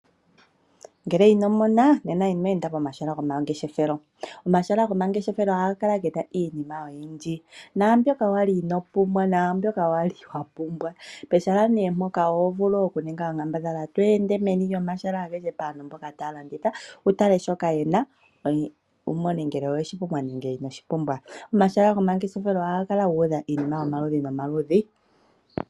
Ngele ino mona, nena ino enda pomahala gomangeshefelo. Omahala gomangeshefelo ohaga kala ge na iinima oyindji, naambyoka wali inoo pumbwa, naambyoka wali wa pumbwa. Pehala nee mpoka oho vulu okuninga onkambadhala to ende meni lyomahala agehe paantu mboka taya landitha, wu tale shoka ye na, wu mone ngele owe shi pumbwa nenge ino shi pumbwa. Omahala gomangeshefelo ohaga kala gu udha iinima yomaludhi nomaludhi.